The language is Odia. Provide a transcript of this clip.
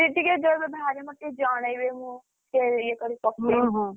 ଦିଦି ଟିକେ ଯୋଉଦିନ ବାହାରିବ ମତେ ଟିକେ ଜଣେଇବେ ମୁଁ, ଟିକେ ଇଏ କରିବି ପକେଇବି ।